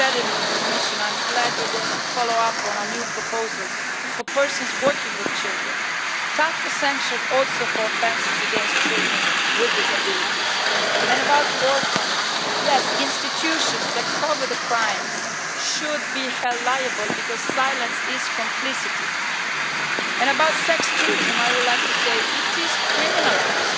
You said it, Commissioner, and I am glad you are going to follow up on our new proposals for persons working with children. Tougher sanctions also for offences against children with disabilities. As regards orphans yes, institutions that cover up crimes should be held liable, because silence is complicity. On sex tourism, I would like to say that it is criminalised